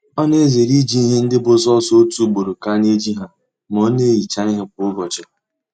Ọ na-ezere iji ihe ndị bụ sọọsọ otu ugboro ka a na eji ha ma ọ na-ehicha ihe kwa ụbọchị